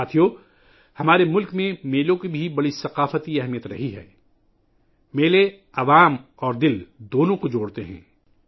ساتھیو ، ہمارے ملک میں میلوں کی بھی بڑی ثقافتی اہمیت رہی ہے، میلے انسانوں اور دلوں کو جوڑتے ہیں